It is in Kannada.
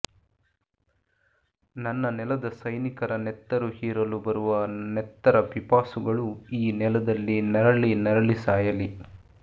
ನನ್ನ ನೆಲದ ಸೈನಿಕರ ನೆತ್ತರು ಹೀರಲು ಬರುವ ನೆತ್ತರಪಿಪಾಸುಗಳು ಈ ನೆಲದಲ್ಲಿ ನರಳಿನರಳಿ ಸಾಯಲಿ